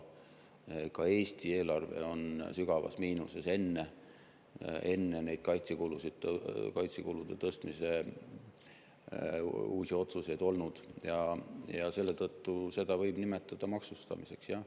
Ka Eesti eelarve oli sügavas miinuses juba enne kaitsekulude tõstmise uusi otsuseid, seetõttu võib seda nimetada maksustamiseks, jah.